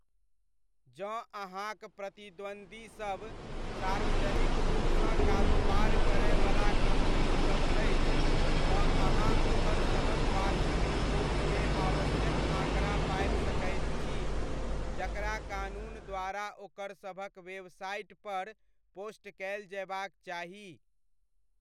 जँ अहाँक प्रतिद्वन्द्वीसब सार्वजनिक रूपसँ कारोबार करयवला कम्पनीसब अछि, तँ अहाँ ओकरसभक वार्षिक रिपोर्टमे आवश्यक आँकड़ा पाबि सकैत छी, जकरा कानून द्वारा ओकरसभक वेबसाइटपर पोस्ट कयल जयबाक चाही।